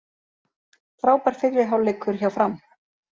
Frábær fyrri hálfleikur hjá Fram